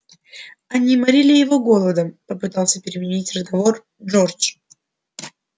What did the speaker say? они морили его голодом попытался переменить разговор джордж